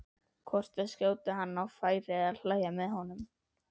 hvort að skjóta hann á færi eða hlæja með honum.